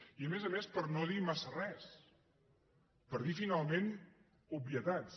i a més a més per no dir massa res per dir finalment obvietats